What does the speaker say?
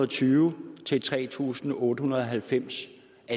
tyve til tre tusind otte hundrede og halvfems